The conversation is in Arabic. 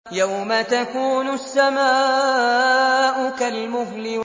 يَوْمَ تَكُونُ السَّمَاءُ كَالْمُهْلِ